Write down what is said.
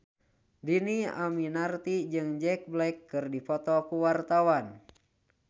Dhini Aminarti jeung Jack Black keur dipoto ku wartawan